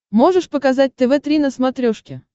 можешь показать тв три на смотрешке